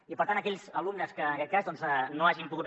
i per tant aquells alumnes que en aquest cas no hagin pogut